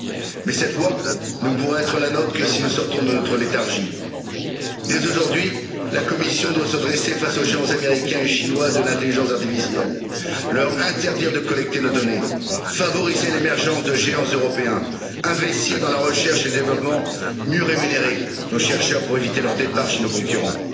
Cependant cette voie ne pourra être la nôtre que si nous sortons de notre léthargie. Dès aujourd'hui, la Commission doit se dresser face aux géants américains et chinois de l'intelligence artificielle, leur interdire de collecter nos données, favoriser l'émergence de géants européens, investir dans la recherche et le développement, mieux rémunérer nos chercheurs pour éviter leur départ chez nos concurrents.